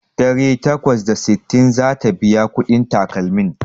Ɗari takwas da sittin zata biya kuɗin takalmin